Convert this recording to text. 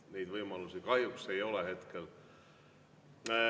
Neid võimalusi kahjuks ei ole hetkel.